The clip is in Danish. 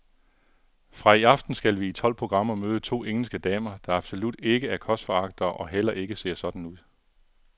Fra i aften skal vi i tolv programmer møde to engelske damer, der absolut ikke er kostforagtere og heller ikke ser sådan ud.